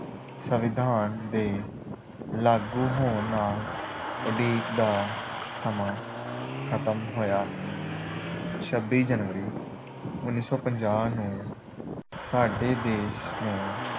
ਸੰਵਿਧਾਨ ਦੇ ਲਾਗੂ ਹੋਣ ਨਾਲ ਉਡੀਕ ਦਾ ਸਮਾਂ ਖਤਮ ਹੋਇਆ। ਛੱਬੀ ਜਨਵਰੀ ਉਨੀ ਸੌ ਪੰਜਾਹ ਨੂੰ ਸਾਡੇ ਦੇਸ਼ ਨੂੰ